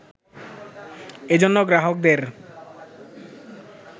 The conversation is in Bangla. এজন্য গ্রাহকদের